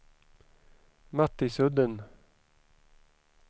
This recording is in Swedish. Mattisudden